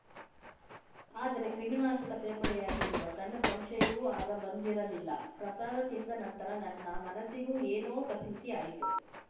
ಆದರೆ ಕ್ರಿಮಿನಾಶಕ ಸೇರ್ಪಡೆಯಾಗಿರುವ ಸಣ್ಣ ಸಂಶಯವೂ ಆಗ ಬಂದಿರಲಿಲ್ಲ ಪ್ರಸಾದ ತಿಂದ ನಂತರ ನನ್ನ ಮನಸ್ಸಿಗೂ ಏನೋ ಕಸಿವಿಸಿ ಆಯಿತು